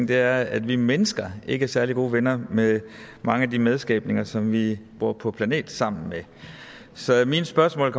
det er at vi mennesker ikke er særlig gode venner med mange af de medskabninger som vi bor på planet sammen med så mine spørgsmål